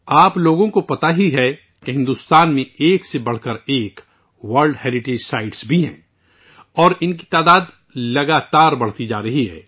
آپ سبھی جانتے ہیں کہ بھارت میں ایک سے زیادہ عالمی ثقافتی ورثہ ہیں اور ان کی تعداد میں لگاتار اضافہ ہو رہا ہے